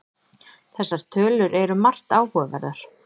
Þessar tölur eru margt áhugaverðar